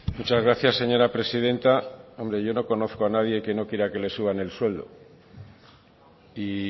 muchas gracias señora presidenta hombre yo no conozco a nadie que no quiera que le suban el sueldo y